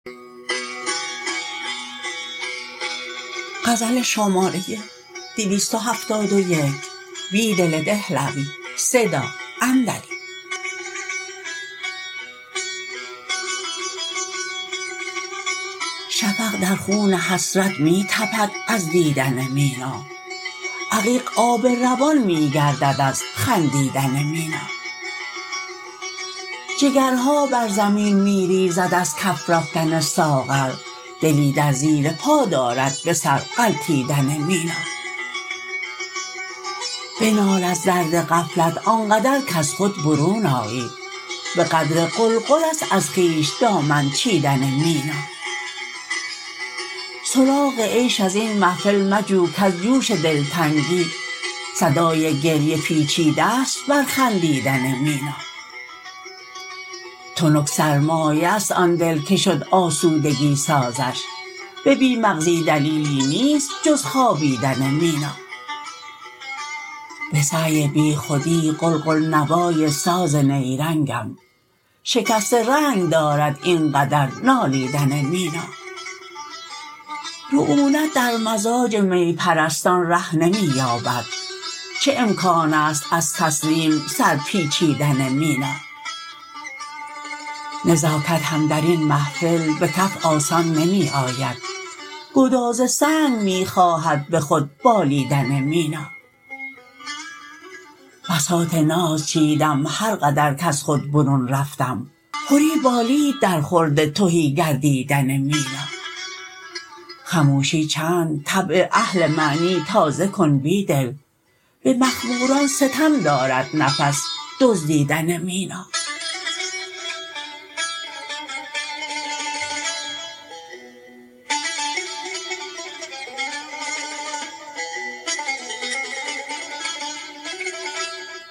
شفق در خون حسرت می تپد از دیدن مینا عقیق آب روان می گردد از خندیدن مینا جگرها بر زمین می ریزد از کف رفتن ساغر دلی در زیر پا دارد به سر غلتیدن مینا بنال از درد غفلت آنقدر کز خود برون آیی به قدر قلقل است از خویش دامن چیدن مینا سراغ عیش ازین محفل مجو کز جوش دلتنگی صدای گریه پیچیده ست بر خندیدن مینا تنک سرمایه است آن دل که شد آسودگی سازش به بی مغزی دلیلی نیست جز خوابیدن مینا به سعی بیخودی قلقل نوای ساز نیرنگم شکست رنگ دارد اینقدر نالیدن مینا رعونت در مزاج می پرستان ره نمی یابد چه امکان است از تسلیم سر پیچیدن مینا نزاکت هم درین محفل به کف آسان نمی آید گداز سنگ می خواهد به خود بالیدن مینا بساط ناز چیدم هرقدر کز خود برون رفتم پری بالید در خورد تهی گردیدن مینا خموشی چند طبع اهل معنی تازه کن بیدل به مخموران ستم دارد نفس دزدیدن مینا